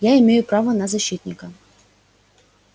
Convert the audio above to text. я имею право на защитника